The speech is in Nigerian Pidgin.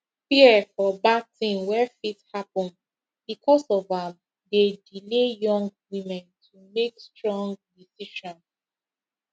fear for bad thing wey fit happen because of am dey delay young women to make stong decision